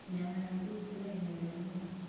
Nyama ya thungura ĩ murĩo mũno.